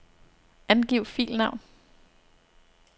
Angiv filnavn.